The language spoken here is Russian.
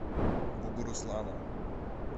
бугуруслана